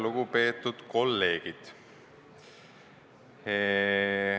Lugupeetud kolleegid!